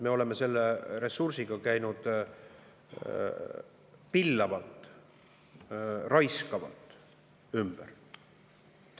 Me oleme selle ressursiga käinud pillavalt, raiskavalt ümber.